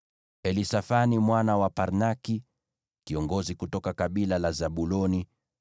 Elisafani mwana wa Parnaki, kiongozi kutoka kabila la Zabuloni;